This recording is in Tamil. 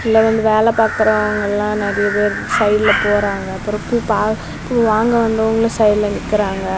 இங்க வந்து வேலை பாக்குறவங்க எல்லாம் நெறைய பேர் சைடுல போறாங்க அப்புறம் பூ பாக் பூ வாங்குறவங்களும் சைடில் நிக்கிறாங்க.